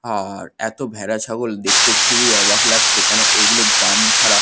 আ-আর এতো ভেড়া ছাগল দেখতে খুবই অবাক লাগছে কেন এগুলো গ্রাম ছাড়া--